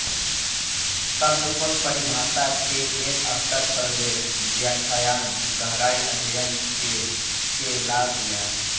शब्दकोश परिभाषा के एक स्तर पर वे व्याख्यान गहराई अध्ययन के के लाभ या